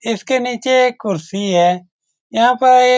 इसके नीचे एक कुर्सी है यहाँ पर ए --